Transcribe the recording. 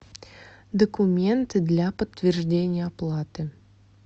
документы для подтверждения оплаты